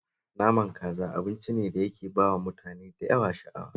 Naman kaza abinci ne da yake ba wa mutane da yawa sha'awa